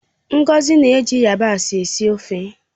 Ngozi na-eji yabasị síé ofeo